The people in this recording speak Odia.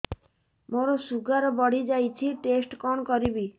ମୋର ଶୁଗାର ବଢିଯାଇଛି ଟେଷ୍ଟ କଣ କରିବି